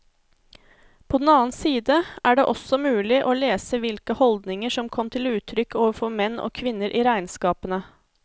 På den annen side er det også mulig å lese hvilke holdninger som kom til uttrykk overfor menn og kvinner i regnskapene.